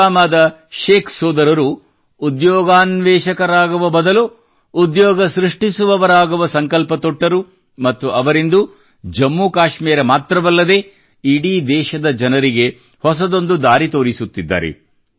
ಪುಲ್ವಾಮಾದ ಶೇಖ್ ಸೋದರರು ಉದ್ಯೋಗಾನ್ವೇಷಕರಾಗುವ ಬದಲು ಉದ್ಯೋಗ ಸೃಷ್ಟಿಸುವವರಾಗುವ ಸಂಕಲ್ಪ ತೊಟ್ಟರು ಮತ್ತು ಅವರಿಂದು ಜಮ್ಮು ಕಾಶ್ಮೀರ ಮಾತ್ರವಲ್ಲದೇ ಇಡೀ ದೇಶದ ಜನರಿಗೆ ಹೊಸದೊಂದು ದಾರಿ ತೋರಿಸುತ್ತಿದ್ದಾರೆ